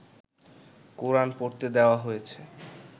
কোরান পড়তে দেওয়া হয়েছে